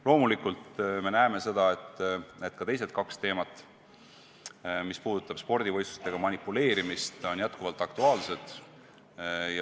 Loomulikult me näeme, et ka teised kaks teemat, eriti mis puudutab spordivõistlustega manipuleerimist, on jätkuvalt aktuaalsed.